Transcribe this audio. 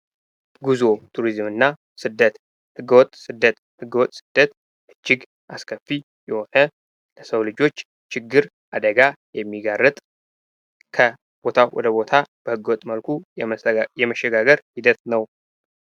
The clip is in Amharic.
ጉዞ፣ ቱሪዝም እና ስደት ፦ ህገ-ወጥ ስደት :-ህገ-ወጥ ስደት እጅግ አስከፊ የሆነ ለሰው ልጆች ችግር ፣አደጋ የሚጋርጥ ከቦታ ወደ ቦታ በህገወጥ መልኩ የመሸጋገር ሂደት ነው።